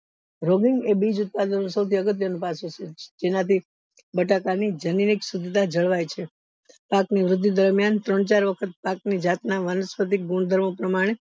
એ બીજ ઉત્પાદન નું સૌથી અગત્ય નું જેનાથી બટાકા ની જનની શુધતા જળવાય છે પાક ની વૃદ્ધિ દરમિયાન ત્રણ ચાર વખત પાક ની જાત ના વનસ્પતિ ગુણ પ્રમાણે